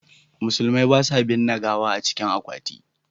Musulmai ba sa binne gawa a cikin akwati.